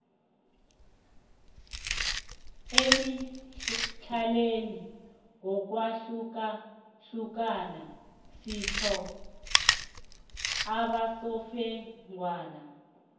emidlalweni ngokwahlukahlukana sitho abasofengwana